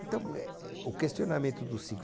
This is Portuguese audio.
Então, eh, eh, o questionamento dos cinco.